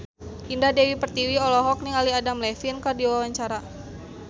Indah Dewi Pertiwi olohok ningali Adam Levine keur diwawancara